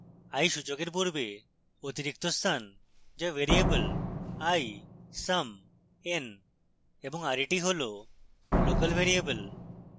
i সূচকের পূর্বে অতিরিক্ত স্থান the variable i sum n এবং ret হল local ভ্যারিয়েবল